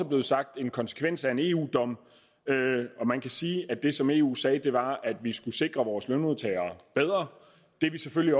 blevet sagt en konsekvens af en eu dom man kan sige at det som eu sagde var at vi skulle sikre vores lønmodtagere bedre det er vi selvfølgelig